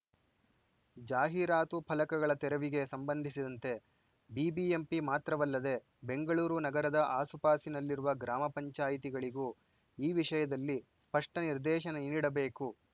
ಜಾಹೀರಾತು ಫಲಕಗಳ ತೆರವಿಗೆ ಸಂಬಂಧಿಸಿದಂತೆ ಬಿಬಿಎಂಪಿ ಮಾತ್ರವಲ್ಲದೆ ಬೆಂಗಳೂರು ನಗರದ ಆಸುಪಾಸಿನಲ್ಲಿರುವ ಗ್ರಾಮ ಪಂಚಾಯಿತಿಗಳಿಗೂ ಈ ವಿಷಯದಲ್ಲಿ ಸ್ಪಷ್ಟನಿರ್ದೇಶನ ನೀಡಬೇಕು